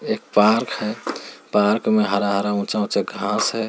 एक पार्क है पार्क मे हरा-हरा ऊंचा-ऊंचा घास है।